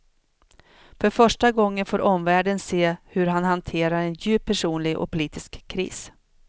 För första gången får omvärlden se hur han hanterar en djup personlig och politisk kris.